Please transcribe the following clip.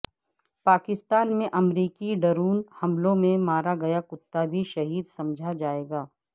پاکستان میں امریکی ڈرون حملوں میں مارا گیا کتا بھی شہید سمجھا جائے گا